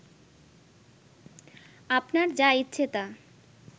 আপনার যা ইচ্ছে তা